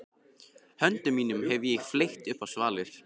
Höndum mínum hef ég fleygt upp á svalir.